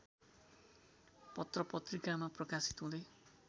पत्रत्रिकामा प्रकाशित हुँदै